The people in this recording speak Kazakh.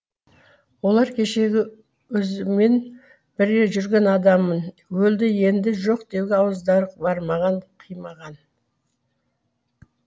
олар кешегі өзімен бірге жүрген адамын өлді енді жоқ деуге ауыздары бармаған қимаған